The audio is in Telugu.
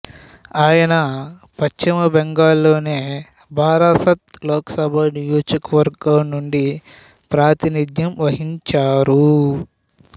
ఆయన పశ్చిమ బెంగాల్ లోని బరాసత్ లోకసభ నియోజకవర్గం నుండి ప్రాతినిద్యం వహించారు